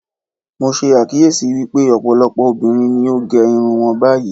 Mo ṣe àkíyèsí wípé ọ̀pọ̀lọpọ̀ obìnrin ni ó gẹ irun wọn báyìí.